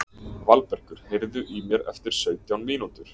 Valbergur, heyrðu í mér eftir sautján mínútur.